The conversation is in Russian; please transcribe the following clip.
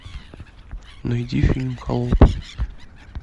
найди фильм холоп